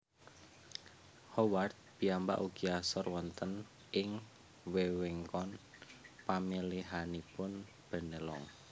Howard piyambak ugi asor wonten ing wewengkon pamilihanipun Bennelong